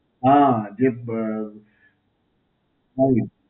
હાં, જે અ